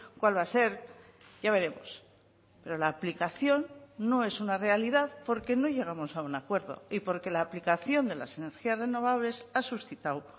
cuál va a ser ya veremos pero la aplicación no es una realidad porque no llegamos a un acuerdo y porque la aplicación de las energías renovables ha suscitado